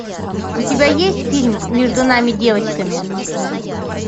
у тебя есть фильм между нами девочками